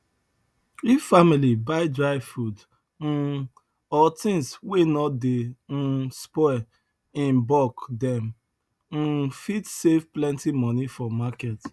if family buy dry food um or things wey no dey um spoil in bulk dem um fit save plenty money for market